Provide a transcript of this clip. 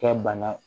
Kɛ bana